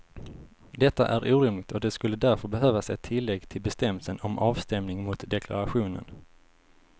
Detta är orimligt och det skulle därför behövas ett tillägg till bestämmelsen om avstämning mot deklarationen.